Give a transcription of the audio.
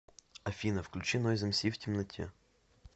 афина включи нойз эмси в темноте